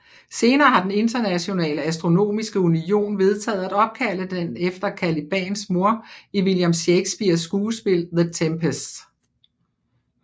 Senere har den Internationale Astronomiske Union vedtaget at opkalde den efter Calibans mor i William Shakespeares skuespil The Tempest